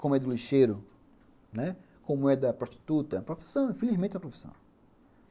Como é do lixeiro, né, como é da prostituta, profissão, infelizmente é uma profissão.